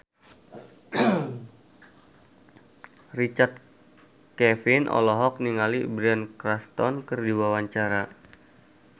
Richard Kevin olohok ningali Bryan Cranston keur diwawancara